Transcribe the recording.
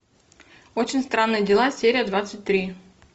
очень странные дела серия двадцать три